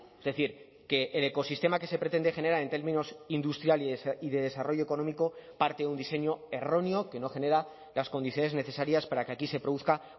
es decir que el ecosistema que se pretende generar en términos industriales y de desarrollo económico parte de un diseño erróneo que no genera las condiciones necesarias para que aquí se produzca